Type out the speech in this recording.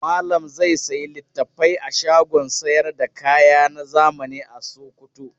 Malam zai sayi littafai a shagon sayar da kaya na zamani a Sokoto.